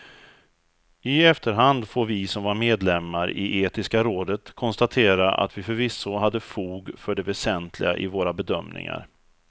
I efterhand får vi som var medlemmar i etiska rådet konstatera att vi förvisso hade fog för det väsentliga i våra bedömningar.